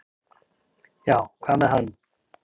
"""Já, hvað með hann?"""